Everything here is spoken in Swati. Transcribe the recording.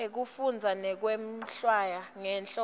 ekufundza nekwehlwaya ngenhloso